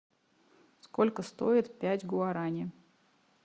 сколько стоит пять гуарани